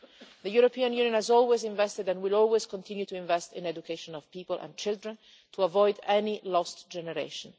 The European Union has always invested and will always continue to invest in the education of people and children to avoid any lost generation.